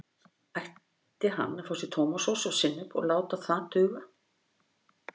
Ætti hann að fá sér tómatsósu og sinnep og láta það duga?